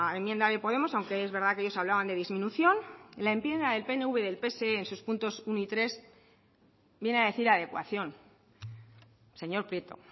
enmienda de podemos aunque es verdad que ellos hablaban de disminución la enmienda del pnv y del pse en sus puntos uno y tres viene a decir adecuación señor prieto